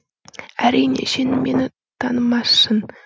әрине сен мені танымассын